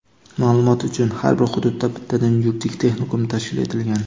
Maʼlumot uchun: har bir hududda bittadan yuridik texnikum tashkil etilgan.